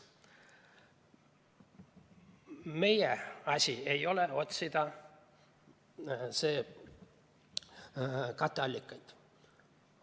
Meie asi ei ole otsida katteallikaid.